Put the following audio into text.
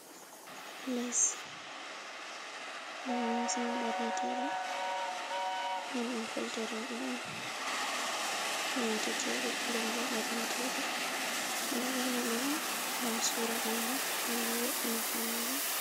Les dum limsi on borneteɗe den dum colte roɓe on nyoteteɗe dembo borneteɗe ɗo bornaɗi on gam sura ɓandu, dembow ina faunegol.